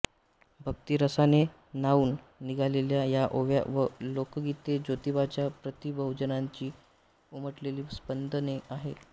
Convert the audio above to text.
भक्तिरसाने न्हाऊन निघालेल्या या ओव्या व लोकगीते ज्योतिबाच्या प्रती बहुजनांची उमटलेली स्पंदने आहेत